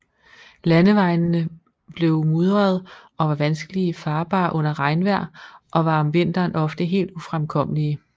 Landevejene blev mudrede og var vanskelig farbare under regnvejr og var om vinteren ofte helt ufremkommelige